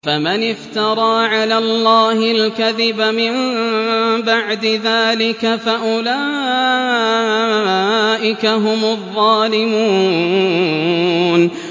فَمَنِ افْتَرَىٰ عَلَى اللَّهِ الْكَذِبَ مِن بَعْدِ ذَٰلِكَ فَأُولَٰئِكَ هُمُ الظَّالِمُونَ